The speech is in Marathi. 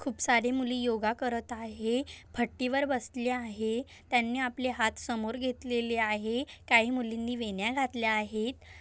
खूप सारी मुली योगा करत आहे फट्टीवर बसली आहे त्यांनी आपल्या हात समोर घेतलेली आहे काही मुलींनी वेण्या घातल्या आहेत.